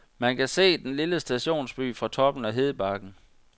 Man kan se den lille stationsby fra toppen af hedebakken.